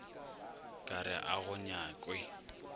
ka re ga go nyakwe